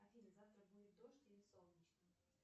афина завтра будет дождь или солнечно